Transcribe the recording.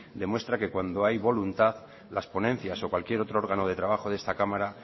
demuestra que cuando hay voluntad las ponencias o cualquier otro órgano de trabajo de esta cámara